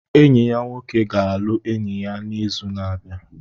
Enyi ya nwoke ga-alụ enyi ya n'izu na-abịa.